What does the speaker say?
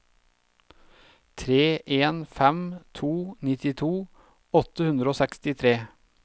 tre en fem to nittito åtte hundre og sekstitre